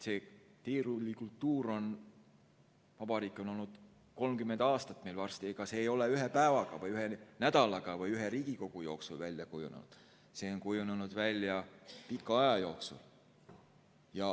See teerullikultuur – vabariik on olnud meil varsti 30 aastat, ega see ei ole ühe päevaga või ühe nädalaga või ühe Riigikogu jooksul välja kujunenud, see on kujunenud välja pika aja jooksul.